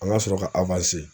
An ŋa sɔrɔ ka